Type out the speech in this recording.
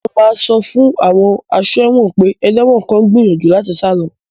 Mo máa sọ fún àwọn aṣọ́ ẹ̀wọ̀n pé ẹlẹ́wọ̀n kan ń gbìyànjú láti sá lọ